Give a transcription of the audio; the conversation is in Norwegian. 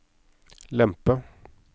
lempe